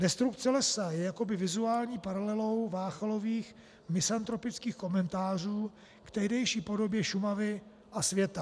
Destrukce lesa je jakoby vizuální paralelou Váchalových misantropických komentářů k tehdejší podobě Šumavy a světa.